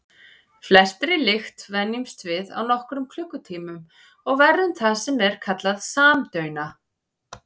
Flestri lykt venjumst við á nokkrum klukkutímum og verðum það sem er kallað samdauna.